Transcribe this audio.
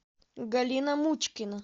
галина мучкина